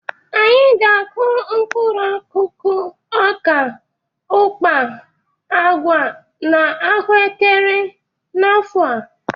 Anyị ga-akụ mkpụrụ akụkụ ọka, ụkpa, agwa na ahụekere n'afọ a.